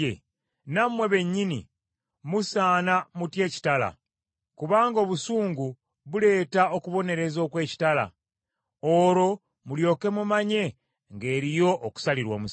nammwe bennyini musaana mutye ekitala. Kubanga obusungu buleeta okubonereza okw’ekitala, olwo mulyoke mumanye ng’eriyo okusalirwa omusango.”